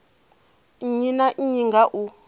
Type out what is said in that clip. nnyi na nnyi nga u